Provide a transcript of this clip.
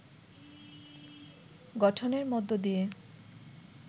গঠনের মধ্য দিয়ে